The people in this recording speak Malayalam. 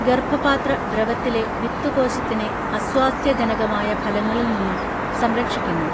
ഗർഭപാത്ര ദ്രവത്തിലെ വിത്തു കോശത്തിനെ അസ്വാസ്ഥ്യജനകമായ ഫലങ്ങളിൽ നിന്നും സംരക്ഷിക്കുന്നു